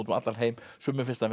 um allan heim sumum finnst hann